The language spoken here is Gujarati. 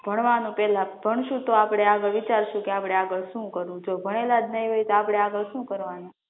ભણવાનું પહેલા ભણશું તો આપડે આગળ વિચારશું કે આપણે પહેલા શું કરવું છે ભણેલાજ નહીં હોઈએ તો આપણે આગળ શું કરવાનું